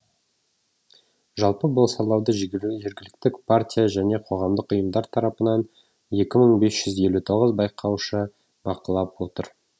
жалпы бұл сайлауды жергілікті партия және қоғамдық ұйымдар тарапынан екі мың бес жүз елу тоғыз байқаушы бақылап отыр